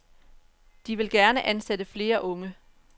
De vil gerne ansætte flere unge.